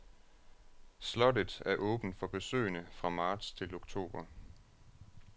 Slottet er åbent for besøgende fra marts til oktober.